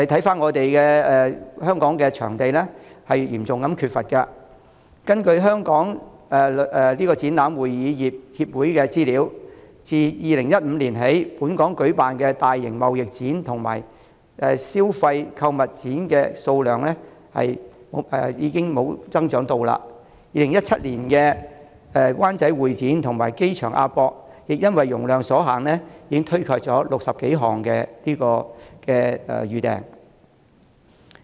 反觀香港嚴重缺乏會展場地，根據香港展覽會議業協會的資料，自2015年起，在本港舉辦的大型貿易展和消費購物展數目缺乏增長，在2017年，位於灣仔的香港會議展覽中心和機場的亞洲國際博覽館亦因為容量所限而推卻近60多項預訂。